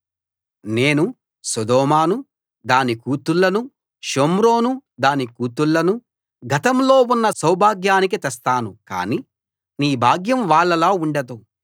నేను సొదొమను దాని కూతుళ్ళనూ షోమ్రోను దాని కూతుళ్ళనూ గతంలో ఉన్న సౌభాగ్యానికి తెస్తాను కాని నీ భాగ్యం వాళ్ళలా ఉండదు